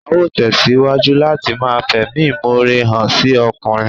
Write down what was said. Á ó tẹ̀síwájú láti ma fẹ̀mímọre hàn sí ọkùnrin